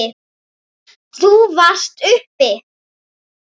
Þú varst uppi.